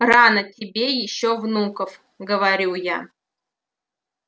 рано тебе ещё внуков говорю я